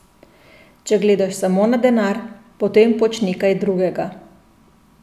Če gledaš samo na denar, potem počni kaj drugega.